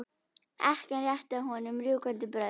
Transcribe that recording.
Ekkjan rétti að honum rjúkandi brauð.